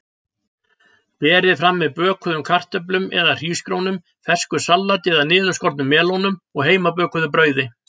Berið fram með bökuðum kartöflum eða hrísgrjónum, fersku salati eða niðurskornum melónum og heimabökuðu brauði.